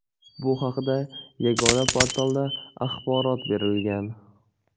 Bu haqda Yagona portalda axborot berilgan .